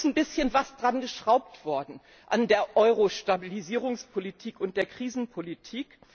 Ja, da ist ein bisschen geschraubt worden an der Euro Stabilisierungspolitik und der Krisenpolitik.